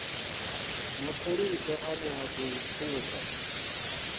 mapholisa ane a khou pfuka